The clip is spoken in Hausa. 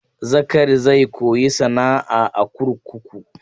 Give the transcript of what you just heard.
Zakari zai koyi sana'a a kurkuku.